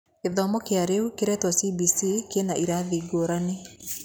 Gĩthomo kĩa rĩu kĩretwo CBC kĩna irathi ngũrani.